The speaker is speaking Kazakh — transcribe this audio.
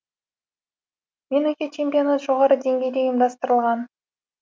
меніңше чемпионат жоғары деңгейде ұйымдастырылған